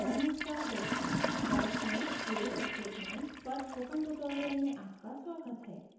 नमस्कार दोस्तों bash में case statement पर spoken tutorial में आपका स्वागत है